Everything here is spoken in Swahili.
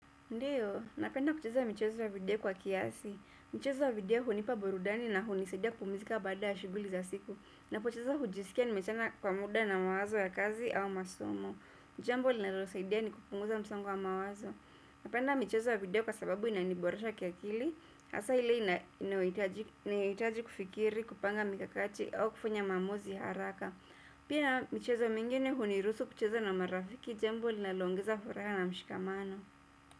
Ndiyo, napenda kucheza michezo ya video kwa kiasi. Michezo ya video hunipa burudani na hunisaidia kupumizika baada ya shughuli za siku. Ninapocheza hujisikia nimeachana kwa muda na mawazo ya kazi au masomo. Jambo linalonisaidia ni kupunguza msongo wa mawazo. Napenda michezo ya video kwa sababu inaniborosha kiakili. Asa ile inayohitaji kufikiri, kupanga mikakati au kufanya maamuzi haraka. Pia, michezo mingine huniruhusu kucheza na marafiki, jambo linaloongeza furaha na mshikamano.